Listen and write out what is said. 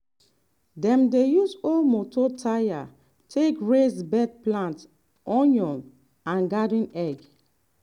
dem dey use old moto tyre take raise bed plant onion and garden egg.